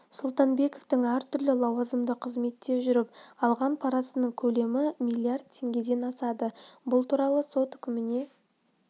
сұлтанбековтің әртүрлі лауазымды қызметте жүріп алған парасының көлемі миллиард теңгеден асады бұл туралы сот үкіміне